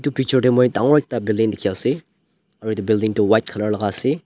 picture tae moi dangor ekta building dikhiase aro edu building tu white colour laka ase.